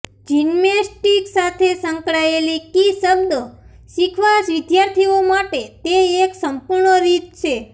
gymnastics સાથે સંકળાયેલી key શબ્દો શીખવા વિદ્યાર્થીઓ માટે તે એક સંપૂર્ણ રીત છે